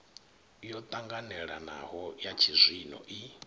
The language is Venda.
yo ṱanganelanaho ya tshizwino i